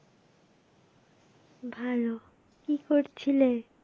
ভালো, কি করছিলে?